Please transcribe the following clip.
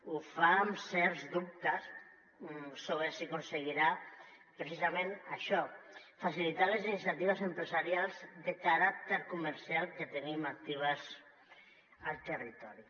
ho fa amb certs dubtes sobre si aconseguirà precisament això facilitar les iniciatives empresarials de caràcter comercial que tenim actives al territori